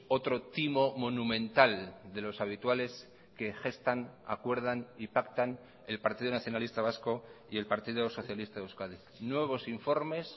otro timo monumental de los habituales que gestan acuerdan y pactan el partido nacionalista vasco y el partido socialista de euskadi nuevos informes